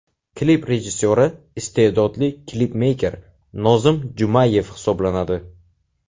Klip rejissyori iste’dodli klipmeyker Nozim Jumayev hisoblanadi.